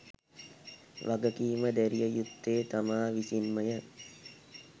වගකීම දැරිය යුත්තේ තමා විසින්මය.